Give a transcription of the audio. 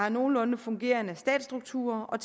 en nogenlunde fungerende stabsstruktur og